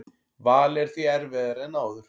Valið er því erfiðara en áður